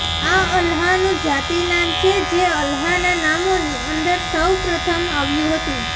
આ અલ્લાહનું જાતી નામ છે જે અલ્લાહના નામોની અંદર સૌ પ્રથમ આવ્યું હતું